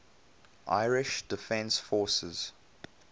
irish defence forces